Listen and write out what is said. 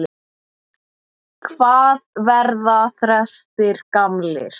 Hvað verða þrestir gamlir?